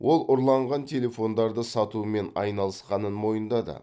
ол ұрланған телефондарды сатумен айналысқанын мойындады